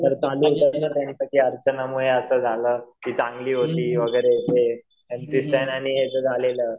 अर्चनामुळे असं झालं, ती चांगली होती वगैरे एम सी स्टॅन आणि हयाच झालेलं.